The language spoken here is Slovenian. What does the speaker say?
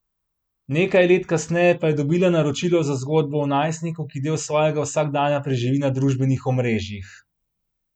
Nekaj let kasneje pa je dobila naročilo za zgodbo o najstniku, ki del svojega vsakdana preživi na družbenih omrežjih.